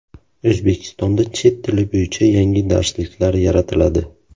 O‘zbekistonda chet tili bo‘yicha yangi darsliklar yaratiladi.